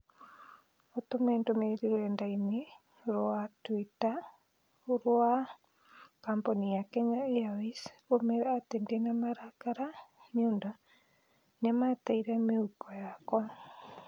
ũtũme ndũmĩrĩri rũrenda-inī rũa tũita rũa kambuni ya Kenya airways ũmeere atĩ ndĩ na marakara nĩ ũndũ nĩ mateire mĩhuko yakwa